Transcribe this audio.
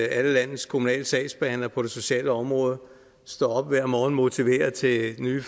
alle landets kommunale sagsbehandlere på det sociale område står op hver morgen motiveret til nye